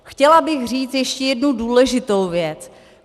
Chtěla bych říct ještě jednu důležitou věc.